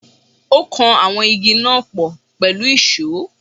Ó kan àwọn Igi náà pọ̀ pẹ̀lú ìsó.